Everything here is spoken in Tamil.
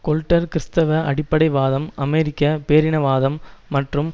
கொல்ட்டர் கிறிஸ்தவ அடிப்படைவாதம் அமெரிக்க பேரினவாதம் மற்றும்